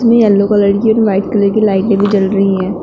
में yellow colour की और व्हाइट कलर की लाइटें भी जल रही है।